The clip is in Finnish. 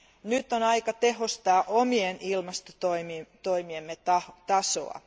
Nyt on aika tehostaa omien ilmastotoimiemme tasoa.